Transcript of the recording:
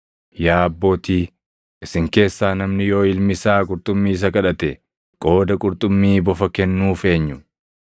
“Yaa abbootii, isin keessaa namni yoo ilmi isaa qurxummii isa kadhate, qooda qurxummii bofa kennuuf eenyu?